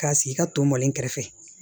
K'a sigi ka to mɔlen kɛrɛfɛ